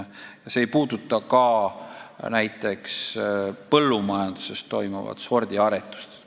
See ei puuduta ka põllumajanduses toimuvat sordiaretust.